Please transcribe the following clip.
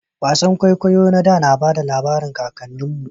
Wasan kwaikwayo na da na bada labarin kakannin mu